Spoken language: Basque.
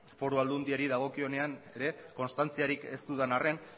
foru aldundiari dagokionenean ere konstantziarik ez dudan arren